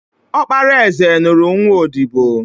Ọkpara eze nụrụ nwa odibo